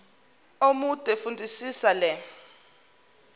omude fundisisa le